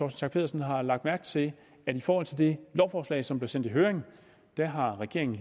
schack pedersen har lagt mærke til at i forhold til det lovforslag som blev sendt i høring har regeringen